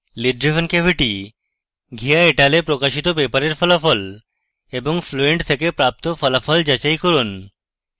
lid driven cavity by : ghia et al 1982 এ প্রকাশিত পেপারের ফলাফল এবং ফ্লুয়েন্ট থেকে প্রাপ্ত ফলাফল যাচাই করুন